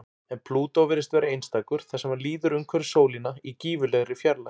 En Plútó virðist vera einstakur þar sem hann líður umhverfis sólina í gífurlegri fjarlægð.